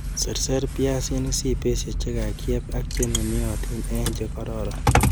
Seraser biaisink sibesie chekakyeb ak chenunotin en chekororn.